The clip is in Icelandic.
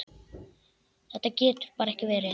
Þetta getur bara ekki verið.